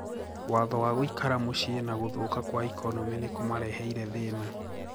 "Watho wa gũikara mũcii na guthuka kwa ikonomi nikũmareheire thĩna .